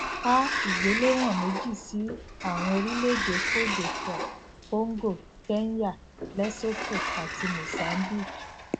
a igbelewon meji sí àwọn orílẹèdè côte divoire congo kenya lesotho àti mozambique